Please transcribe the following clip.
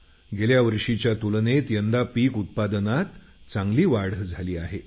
गेल्यावर्षीच्या तुलनेत यंदा पीक उत्पादनात चांगली वाढ झाली आहे